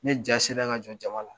Ne jaa sera ka jɔ jama la.